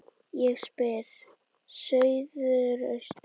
Ég spyr: Suðaustur